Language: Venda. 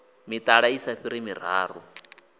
mitala i sa fhiri miraru